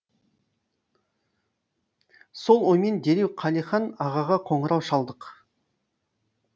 сол оймен дереу қалихан ағаға қоңырау шалдық